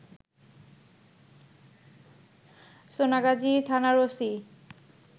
সোনাগাজী থানার ওসি